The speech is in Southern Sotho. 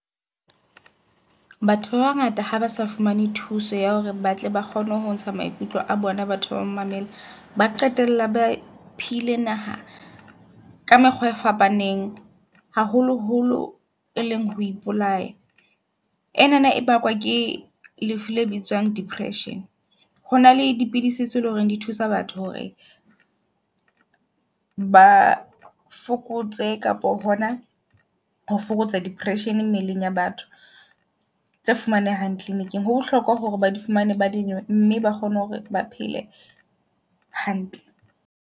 Batho ba bangata ha ba sa fumane thuso ya hore batle ba kgone ho ntsha maikutlo a bona, batho ba mamele ba qetella ba phile naha ka mekgwa e fapaneng. Haholoholo e leng ho ipolaya enana e bakwa ke lefu le bitswang depression. Hona le dipidisi tse leng hore di thusa batho hore ba fokotse kapa hona ho fokotsa depression mmeleng ya batho. Tse fumanehang kliniking. Ho bohlokwa hore ba di fumane ba di nwe mme ba kgone hore ba phele hantle.